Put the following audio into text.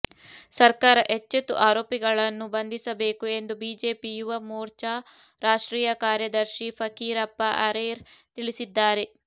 ಸರ್ಕಾರ ಎಚ್ಚೆತ್ತು ಆರೋಪಿಗಳನ್ನು ಬಂಧಿಸಬೇಕು ಎಂದು ಬಿಜೆಪಿ ಯುವ ಮೋರ್ಚಾ ರಾಷ್ಟ್ರೀಯ ಕಾರ್ಯದರ್ಶಿ ಫಕೀರಪ್ಪ ಅರೇರ್ ತಿಳಿಸಿದ್ದಾರೆ